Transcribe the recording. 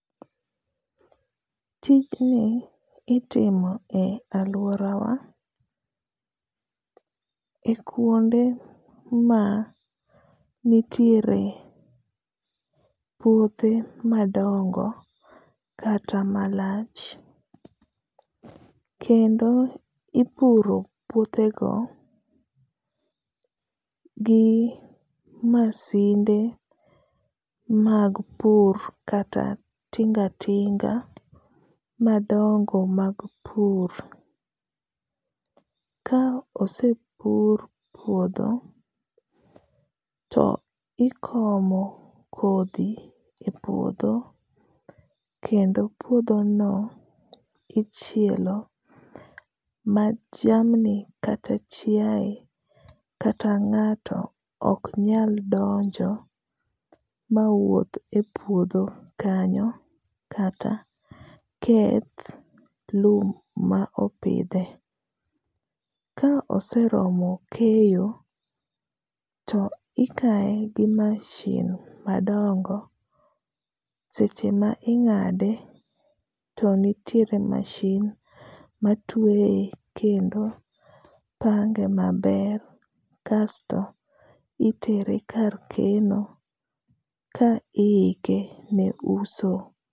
Tijni itimo e alwora wa e kuonde ma nitiere puothe madongo kata malach. Kendo ipuro puothe go gi masinde mag pur kata tinga tinga madongo mag pur. Ka osepur puodho to ikomo kodhi e puodho, kendo puodho no ichielo ma jamni kata chiae, kata ngáto ok nyal donjo ma wuoth e puodho kanyo kata keth lum ma opidhe. Ka oseromo keyo, to ikaye gi machine madongo, to seche ma ingáde to nitiere machine matweye kendo pange maber. Kasto itere kar keno ka iike ne uso.